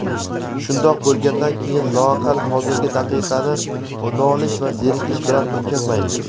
Shundoq bo‘lgandan keyin loaqal hozirgi daqiqani nolish va zerikish bilan o‘tkazmaylik.